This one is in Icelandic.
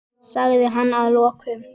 sagði hann að lokum.